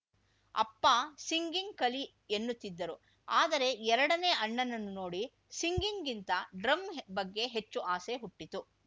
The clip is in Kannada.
ಅಪ್ಪ ಸಿಂಗಿಂಗ್‌ ಕಲಿ ಎನ್ನುತ್ತಿದ್ದರು ಆದರೆ ಎರಡನೇ ಅಣ್ಣನನ್ನು ನೋಡಿ ಸಿಂಗಿಂಗ್‌ಗಿಂತ ಡ್ರಮ್‌ ಬಗ್ಗೆ ಹೆಚ್ಚು ಆಸೆ ಹುಟ್ಟಿತು